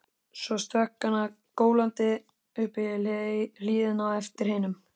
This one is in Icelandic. Svo stökk hann gólandi upp í hlíðina á eftir hinum.